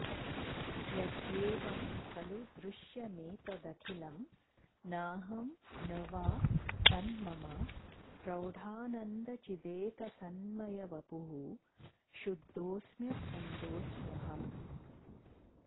यद्येवं खलु दृश्यमेतदखिलं नाहं न वा तन्मम प्रौढानन्दचिदेकसन्मयवपुः शुद्धोऽस्म्यखण्डोऽस्म्यहम्